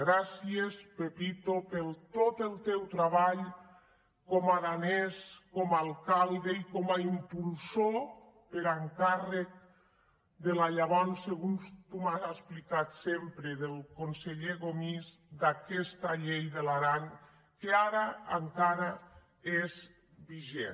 gràcies pepito per tot el teu treball com a aranès com a alcal·de i com a impulsor per encàrrec del llavors segons tu m’has explicat sempre conseller gomis d’aquesta llei de l’aran que ara encara és vigent